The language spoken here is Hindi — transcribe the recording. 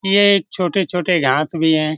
ये एक छोटे छोटे घास भी हैं ।